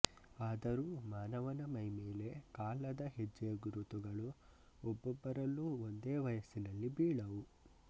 ಆದರೂ ಮಾನವನ ಮೈಮೇಲೆ ಕಾಲದ ಹೆಜ್ಜೆ ಗುರುತುಗಳು ಒಬ್ಬೊಬ್ಬರಲ್ಲೂ ಒಂದೇ ವಯಸ್ಸಿನಲ್ಲಿ ಬೀಳವು